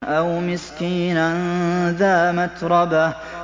أَوْ مِسْكِينًا ذَا مَتْرَبَةٍ